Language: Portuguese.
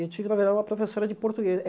Eu tive, na, uma professora de portuguê eh.